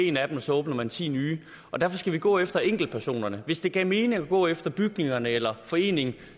en af dem og så åbner man ti nye derfor skal vi gå efter enkeltpersonerne hvis det gav mening at gå efter bygningerne eller foreningen